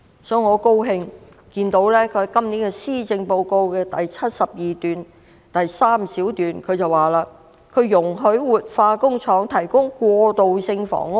我很高興看到她在今年的施政報告第72段第3項表示"容許活化工廈可提供過渡性房屋。